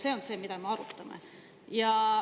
See on see, mida me arutame.